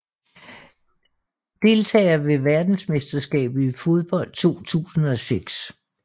Deltagere ved verdensmesterskabet i fodbold 2006